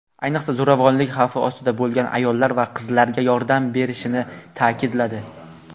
ayniqsa zo‘ravonlik xavfi ostida bo‘lgan ayollar va qizlarga yordam berishini ta’kidladi.